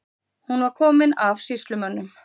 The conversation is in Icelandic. Hún var komin af sýslumönnum.